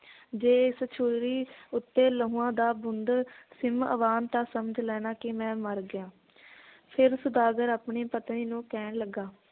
ਜੇ ਇਸ ਛੁਰੀ ਉੱਤੇ ਲਹੂਆਂ ਦਾ ਬੂੰਦ ਸਿਮ ਆਵਣ ਤਾਂ ਸਮਝ ਲੈਣਾ ਕਿ ਮੈ ਮਰ ਗਿਆ ਫੇਰ ਸੌਦਾਗਰ ਆਪਣੀ ਪਤਨੀ ਨੂੰ ਕਹਿਣ ਲੱਗਾ